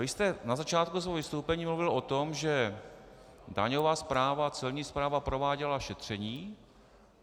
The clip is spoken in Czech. Vy jste na začátku svého vystoupení mluvil o tom, že daňová správa, celní správa, prováděla šetření.